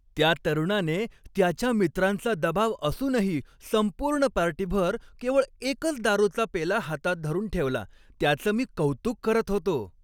त्या तरुणाने त्याच्या मित्रांचा दबाव असूनही संपूर्ण पार्टीभर केवळ एकच दारूचा पेला हातात धरून ठेवला, त्याचं मी कौतुक करत होतो .